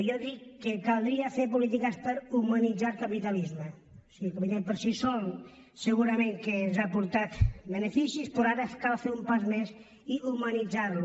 jo dic que caldria fer polítiques per humanitzar el capitalisme o sigui el capitalisme per si sol segurament que ens ha portat beneficis però ara cal fer un pas més i humanitzar lo